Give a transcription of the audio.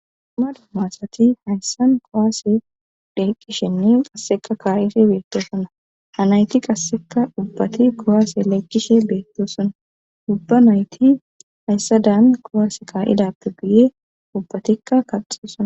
uma duomaasati hayssan kowaase dheeqqishenne qasseka kaarife beettosona hanayki qasseka ubbati kowaase laykkishe beettosona ubba nayti hayssa daan kowaas kaa7idappe guye ubbatikka kaxio suna